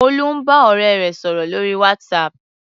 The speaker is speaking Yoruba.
Olú ń bá ọ̀rẹ́ rẹ̀ sọ̀rò lórí WhatsApp.